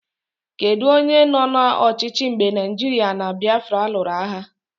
Kedụ onye nọ n'ọchịchị mgbe Naijiria na Biafra lụrụ agha?